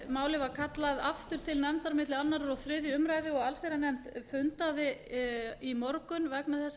málið var kallað aftur til nefndar milli annars og þriðju umræðu og allsherjarnefnd fundaði í morgun vegna þessara